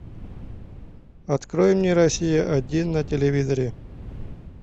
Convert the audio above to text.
открой мне россия один на телевизоре